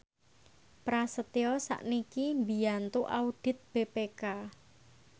Prasetyo sakniki mbiyantu audit BPK